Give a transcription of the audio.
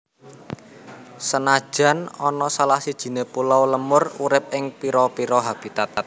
Senajan ana salah sijiné pulo lemur urip ing pira pira habitat